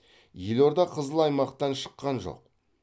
елорда қызыл аймақтан шыққан жоқ